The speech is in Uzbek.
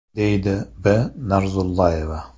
– deydi B. Narzullayeva.